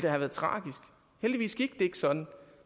have været tragisk heldigvis gik det ikke sådan